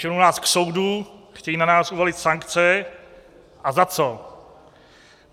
Ženou nás k soudu, chtějí na nás uvalit sankce - a za co?